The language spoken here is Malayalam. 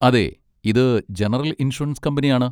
അതെ, ഇത് ജനറൽ ഇൻഷുറൻസ് കമ്പനിയാണ്.